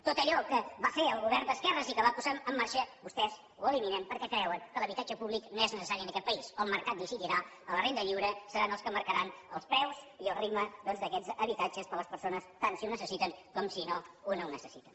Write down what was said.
tot allò que va fer el govern d’esquerres i que va posar en marxa vostès ho eliminen perquè creuen que l’habitatge públic no és necessari en aquest país el mercat decidirà amb la renda lliure seran els que marcaran els preus i el ritme doncs d’aquests habitatges per a les persones tant si ho necessiten com si no ho necessiten